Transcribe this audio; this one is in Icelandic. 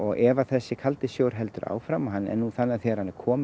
ef þessi kaldi sjór heldur áfram þegar hann er kominn